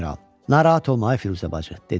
Narahat olma, ay Firuzə bacı, dedi.